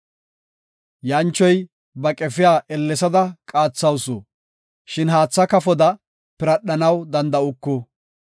“Yanchoy ba qefiya ellesada qaathawusu; shin haatha kafoda piradhanaw danda7uku.